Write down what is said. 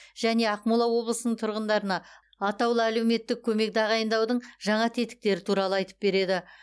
және ақмола облысының тұрғындарына атаулы әлеуметтік көмек тағайындаудың жаңа тетіктері туралы айтып береді